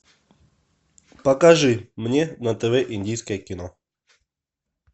покажи мне на тв индийское кино